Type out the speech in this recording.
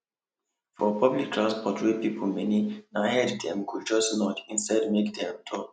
for public transport wey people many na head dem go just nod instead make dem talk